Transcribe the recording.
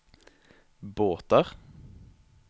båter